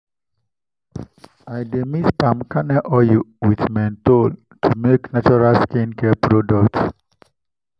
i dey mix palm kernel oil with menthol to make natural skin care products.